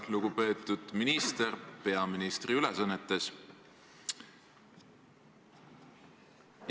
Lugupeetud minister peaministri ülesannetes!